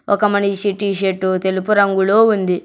ఒక మనిషి T shirt తెలుపు రంగులో ఉంది.